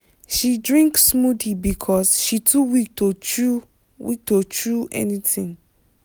she drink smoothie because she too weak to chew weak to chew anything.